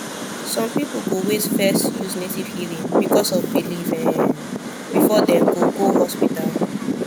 some people go wait first use native healing because of belief um before dem go go hospital